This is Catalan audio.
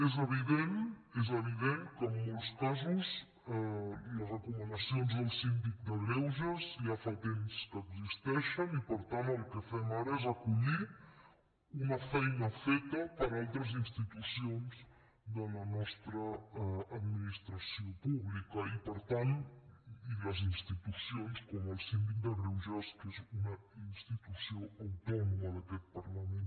és evident és evident que en molts casos les recomanacions del síndic de greuges ja fa temps que existeixen i per tant el que fem ara és acollir una feina feta per altres institucions de la nostra administració pública i les institucions com el síndic de greuges que és una institució autònoma d’aquest parlament